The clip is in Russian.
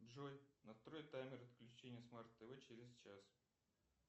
джой настрой таймер отключения смарт тв через час